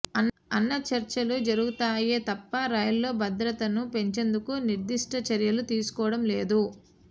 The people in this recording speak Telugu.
అన్న చర్చలు జరుగుతాయే తప్ప రైళ్లలో భద్రతను పెంచేందుకు నిర్దిష్ట చర్యలు తీసుకోవడం లేదు